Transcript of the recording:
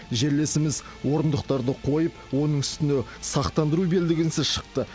жерлесіміз орындықтарды қойып оның үстіне сақтандыру белдігінсіз шықты